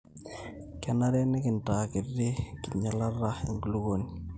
kenare nikintaa kiti enkinyialata enkulupuoni